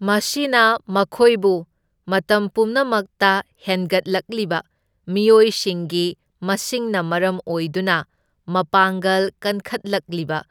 ꯃꯁꯤꯅ ꯃꯈꯣꯏꯕꯨ ꯃꯇꯝ ꯄꯨꯝꯅꯃꯛꯇ ꯍꯦꯟꯒꯠꯂꯛꯂꯤꯕ ꯃꯤꯑꯣꯏꯁꯤꯡꯒꯤ ꯃꯁꯤꯡꯅ ꯃꯔꯝ ꯑꯣꯏꯗꯨꯅ ꯃꯄꯥꯡꯒꯜ ꯀꯟꯈꯠꯂꯛꯂꯤꯕ